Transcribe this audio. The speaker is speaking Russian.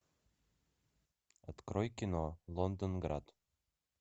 открой кино лондонград